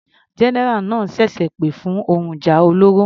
General náà ṣẹ̀ṣẹ̀ pè fún ohun ìjà olóró.